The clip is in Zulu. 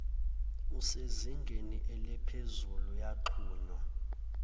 esezingeni elephezulu yaxhunwya